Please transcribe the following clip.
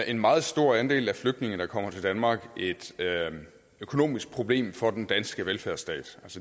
en meget stor andel af de flygtninge der kommer til danmark et økonomisk problem for den danske velfærdsstat